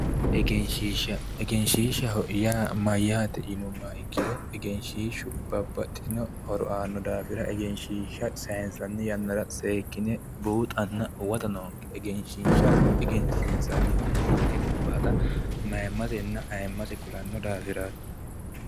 Egenshishsha, egenshishsha yaa mayate yinnuummoro ikkiro egenshishshu babbaxino horo aano daafira egenshishsha saynsanni yannara seekkine buuxanna huwatta noonke, egenshishsha egensiinsanihu mite gobbatta mayimmasenna ayimmase kulano daafirati